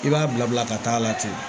I b'a bila bila ka taa a la ten